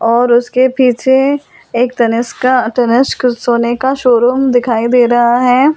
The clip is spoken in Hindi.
और उसके पीछे एक तनिष्का तनिष्क सोने का शोरूम दिखाई दे रहा है।